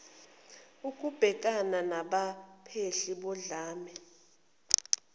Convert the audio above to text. okubhekana nabaphehli bodlame